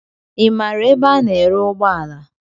Ị maara ebe a ná-ere ụgbọala?